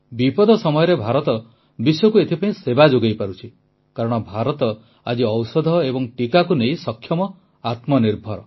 ବିପଦ ସମୟରେ ଭାରତ ବିଶ୍ୱକୁ ଏଥିପାଇଁ ସେବା ଯୋଗାଇପାରୁଛି କାରଣ ଭାରତ ଆଜି ଔଷଧ ଏବଂ ଟିକାକୁ ନେଇ ସକ୍ଷମ ଆତ୍ମନିର୍ଭର